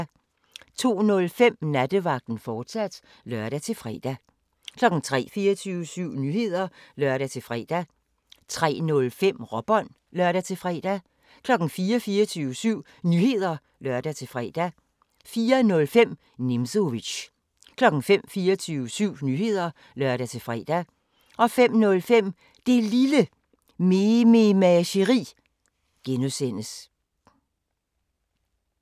02:05: Nattevagten, fortsat (lør-fre) 03:00: 24syv Nyheder (lør-fre) 03:05: Råbånd (lør-fre) 04:00: 24syv Nyheder (lør-fre) 04:05: Nimzowitsch 05:00: 24syv Nyheder (lør-fre) 05:05: Det Lille Mememageri (G)